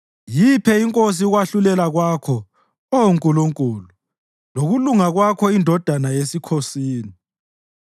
Yiphe inkosi ukwahlulela kwakho, Oh Nkulunkulu, lokulunga kwakho indodana yesikhosini.